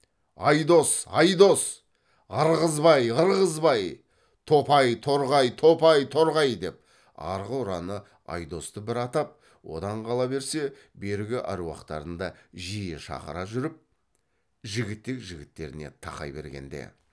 айдос айдос ырғызбай ырғызбай топай торғай топай торғай деп арғы ұраны айдосты бір атап одан қала берсе бергі әруақтарын да жиі шақыра жүріп жігітек жігіттеріне тақай бергенде